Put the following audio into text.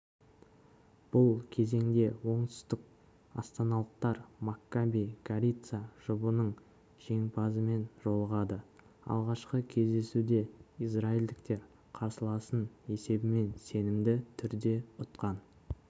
бұл кезеңде оңтүстікастаналықтар маккаби горица жұбының жеңімпазымен жолығады алғашқы кездесуде израильдіктер қарсыласын есебімен сенімді түрде ұтқан